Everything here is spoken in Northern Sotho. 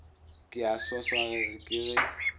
ke a swaswage ke re